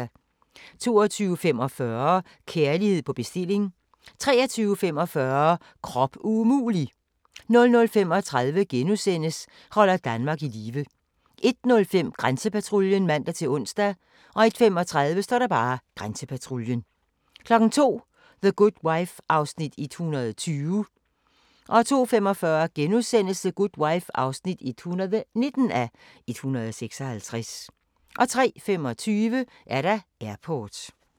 22:45: Kærlighed på bestilling 23:45: Krop umulig! 00:35: Holder Danmark i live * 01:05: Grænsepatruljen (man-ons) 01:35: Grænsepatruljen 02:00: The Good Wife (120:156) 02:45: The Good Wife (119:156)* 03:25: Airport